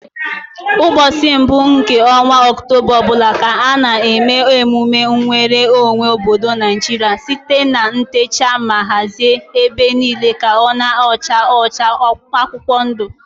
Ụbọchị mbụ nke ọnwa oktoba ọbụla ka a na eme emume nweru onwe obodo Naijiria site na itecha ma hazie ebe niile ka ọ na acha ọcha na akwụkwọ ndu